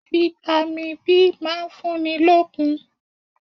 Fitami B máa ń fúnni lókun.